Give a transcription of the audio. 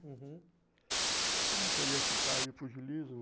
Uhum, como é que eu ia citar aí o pugilismo?